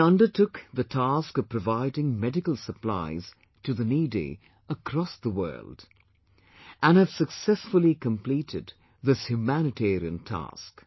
We undertook the task of providing medical supplies to the needy across the world, and have successfully completed this humanitarian task